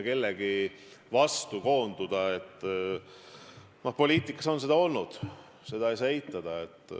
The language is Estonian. Kellegi vastu koonduda – poliitikas on seda olnud, seda ei saa eitada.